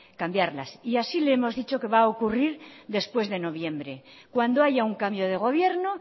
cambiarlas y así le hemos dicho que va a ocurrir después de noviembre cuando haya un cambio de gobierno